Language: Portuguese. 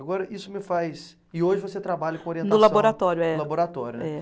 Agora isso me faz. E hoje você trabalha com orientação. No laboratório, é. No laboratório, né? É